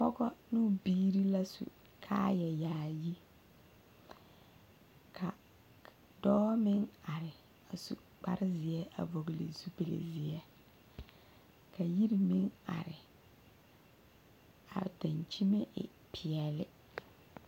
Pɔge ne o biiri la su kaayɛyaayi ka dɔɔ meŋ are a su kparezeɛ a vɔgle zupili zeɛ ka yiri meŋ are ka a dankyinime e peɛlle.